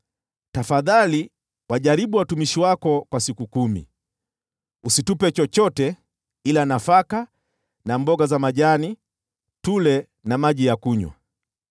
“Tafadhali wajaribu watumishi wako kwa siku kumi. Usitupe chochote ila nafaka na mboga za majani tule, na maji ya kunywa.